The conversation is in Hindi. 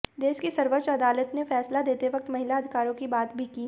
देश की सर्वोच्च अदालत ने फैसला देते वक्त महिला अधिकारों की बात भी की